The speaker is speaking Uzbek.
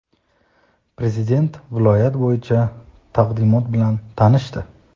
Prezident viloyat bo‘yicha taqdimot bilan tanishdi.